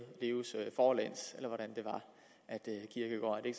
forlæns eller